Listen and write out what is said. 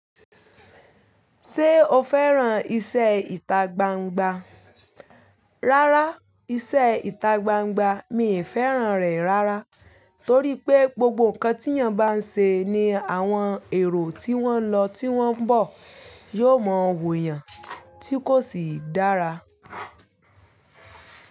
Ṣé o fẹ́ràn iṣẹ́ ìtagbangba? Rárá iṣẹ́ ìtagbangba mi ì fẹ́ràn rẹ̀ rárá torí pé gbogbo nǹkan tí ènìyàn bá ń ṣe ní àwọn èrò tí wọ́n ń lọ tí wọ́n ń bọ̀ yóò mọ wò ènìyàn tí kò sì dára.